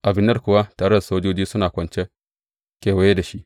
Abner kuwa tare da sojoji suna kwance kewaye da shi.